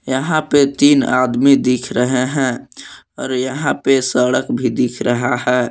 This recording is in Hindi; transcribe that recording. यहा पे तीन आदमी दिख रहे है और यहा पे सड़क भी दिख रहा है।